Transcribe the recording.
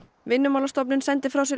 Vinnumálastofnun sendi frá sér